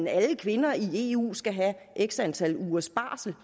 at alle kvinder i eu skal have x antal ugers barsel